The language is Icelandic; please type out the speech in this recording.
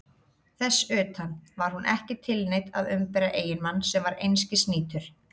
Þess utan: var hún ekki tilneydd að umbera eiginmann sem var einskis nýtur?